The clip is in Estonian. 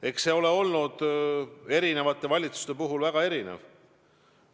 Eks see ole eri valitsuste ajal väga erinev olnud.